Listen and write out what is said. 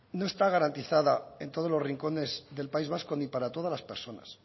no está garantizada en todos los rincones del país vasco ni para todas las personas